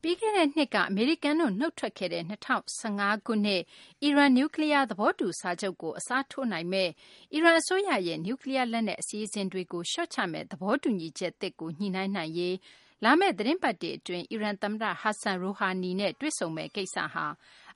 ပြီးခဲ့တဲ့နှစ်က အမေရိကန်တို့ နုတ်ထွက်ခဲ့တဲ့ ၂၀၁၅ ခုနှစ် အီရန် နျူးကလီးယား သဘောတူစာချုပ်ကို အစားထိုးနိုင်မယ့် အီရန်အစိုးရရဲ့ နျူးကလီးယား လက်နက် အစီအစဉ်တွေကို လျှော့ချမယ့် သဘောတူညီချက်သစ်ကို ညှိနှိုင်းနိုင်ရေး လာမယ့် သီတင်းပတ်တွေ အတွင်း အီရန် သမ္မတ Hassan Rouhani နဲ့ တွေ့ဆုံမယ့် ကိစ္စဟာ